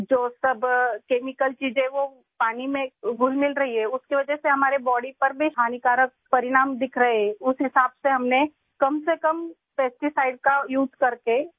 جو کہ پانی میں کیمیکلز کی آمیزش کی وجہ سے ہمارے جسم پر مضر اثرات مرتب کر رہے ہیں، اسی مناسبت سے ہم نے کم سے کم کیڑے مار ادویات کا استعمال کیا ہے